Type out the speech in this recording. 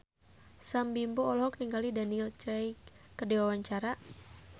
Sam Bimbo olohok ningali Daniel Craig keur diwawancara